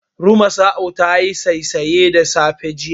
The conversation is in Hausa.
Rumasa'u tayi saisaye da safe, jiya.